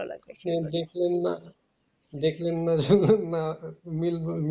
দেখলেন না দেখলেন না আহ মিল